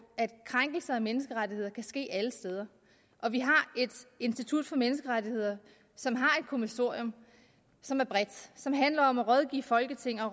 at krænkelser af menneskerettigheder kan ske alle steder og vi har et institut for menneskerettigheder som har et kommissorium som er bredt og som handler om at rådgive folketinget